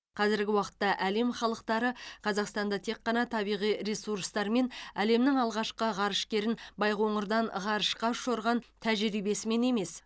қазіргі уақытта әлем халықтары қазақстанды тек ғана табиғи ресурстары мен әлемнің алғашқы ғарышкерін байқоңырдан ғарышқа ұшырған тәжірибесімен емес